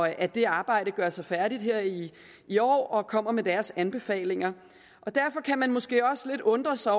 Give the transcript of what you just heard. at det arbejde gøres færdigt her i i år og at udvalget kommer med deres anbefalinger derfor kan man måske også undre sig